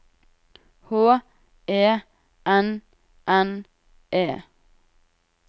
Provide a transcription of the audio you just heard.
H E N N E